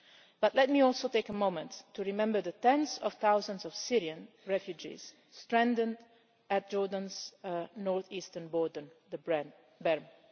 But let me also take a moment to remember the tens of thousands of Syrian refugees stranded at Jordan's north eastern border, the Berm'.